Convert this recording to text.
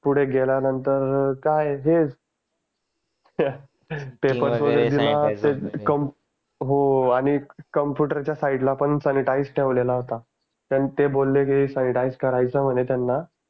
पुढे गेल्यानंतर काय हे हो आणि कम्प्युटर च्या side ला पण सांनीटईसर ठेवलेला होता ते बोलले की सांनीटईसर करायचं म्हणे त्यांना